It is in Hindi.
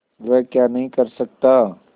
वह क्या नहीं कर सकता